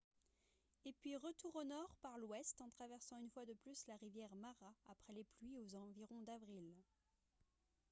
et puis retour au nord par l'ouest en traversant une fois de plus la rivière mara après les pluies aux environs d'avril